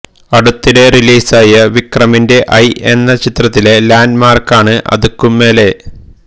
അടുത്തിടെ റിലീസായ വിക്രമിന്റെ ഐ എന്ന ചിത്രത്തിലെ ലാന്റ്മാര്ക്കാണ് അതുക്കും മേലെ